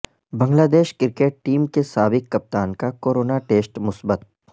بنگلہ دیش cricket team کے سابق کپتان کا کورونا ٹیسٹ مثبت